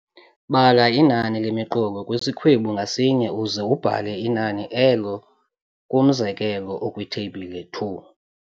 Bala inani lemiqolo kwisikhwebu ngasinye uze ubhale inani elo kumzekelo okwiTheyibhile 2.